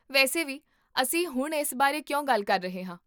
ਵੈਸੇ ਵੀ, ਅਸੀਂ ਹੁਣ ਇਸ ਬਾਰੇ ਕਿਉਂ ਗੱਲ ਕਰ ਰਹੇ ਹਾਂ?